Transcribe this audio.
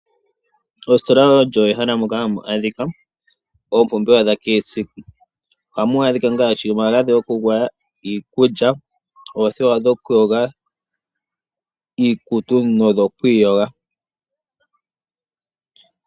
Ositola olyo ehala moka hamu adhika oompumbwe dha kehe siku. Ohamu adhika ngaashi omagadhi gokugwaya, iikulya, oothewa dhokuyoga iikutu nodho kwiiyoga.